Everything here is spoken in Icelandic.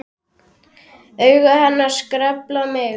Augu hennar skelfa mig.